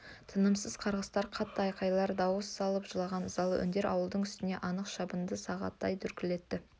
тынымсыз қарғыстар қатты айқайлар дауыс салып жылаған ызалы үндер ауылдың үстін анық шабынды сағатындай дүрліктірді